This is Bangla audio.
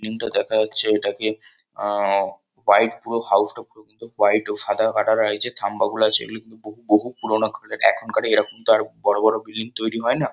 বিল্ডিং -টা দেখা যাচ্ছে এটাকে আ-আ হোয়াইট পুরো হাউস -টা পুরো কিন্তু হোয়াইট ও সাদা কাটা লাগছে থাম্বাগুলো আছে এগুলো কিন্তু বহু বহু পুরোনো আমলের। এখনকার এরকম তো আর বড় বড় বিল্ডিং তৈরী হয় না।